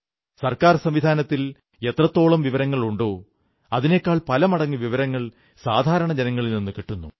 സർക്കാർ സംവിധാനത്തിൽ എത്രത്തോളം വിവരങ്ങളുണ്ടോ അതിനെക്കാൾ പല മടങ്ങ് വിവരങ്ങൾ സാധാരണ ജനങ്ങളിൽ നിന്നു കിട്ടുന്നു